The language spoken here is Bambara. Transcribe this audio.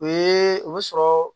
O ye o be sɔrɔ